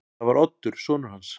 Það var Oddur sonur hans.